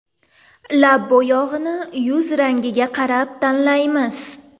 Lab bo‘yog‘ini yuz rangiga qarab tanlaymiz.